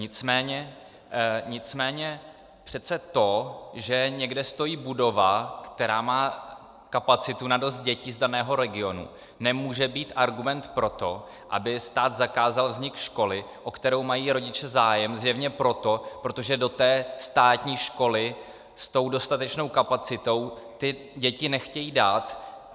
Nicméně přece to, že někde stojí budova, která má kapacitu na dost dětí z daného regionu, nemůže být argument pro to, aby stát zakázal vznik školy, o kterou mají rodiče zájem zjevně proto, protože do té státní školy s tou dostatečnou kapacitou ty děti nechtějí dát.